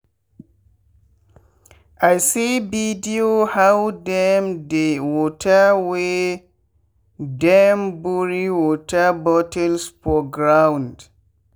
i see video how dem dey waterwey dem bury water bottles for ground.